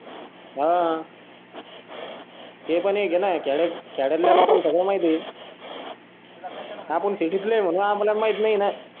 हवं ते पण एक हेना खेळाडू लोकांना सगळं म्हायती हाय तू ला कशाला आपण सीडी प्लेयर है म्हणून आपल्या म्हायीत नाय ना